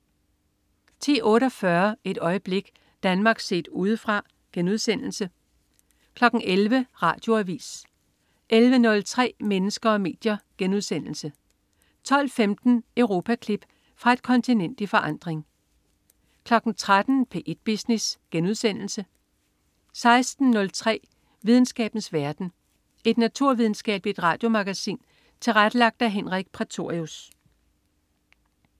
10.48 Et øjeblik. Danmark set Udefra* 11.00 Radioavis 11.03 Mennesker og medier* 12.15 Europaklip. Fra et kontinent i forandring 13.00 P1 Business* 16.03 Videnskabens verden. Et naturvidenskabeligt radiomagasin tilrettelagt af Henrik Prætorius